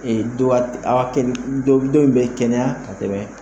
Ee du wa dɔ in bɛ kɛnɛya ka tɛmɛ